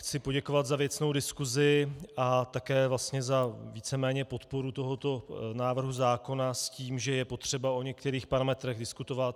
Chci poděkovat za věcnou diskusi a také vlastně za víceméně podporu tohoto návrhu zákona s tím, že je potřeba o některých parametrech diskutovat.